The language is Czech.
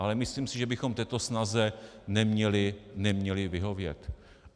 Ale myslím si, že bychom této snaze neměli vyhovět.